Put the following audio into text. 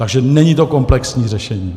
Takže není to komplexní řešení.